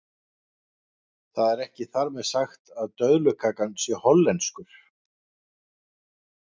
það er ekki þar með sagt að döðlukakan sé hollenskur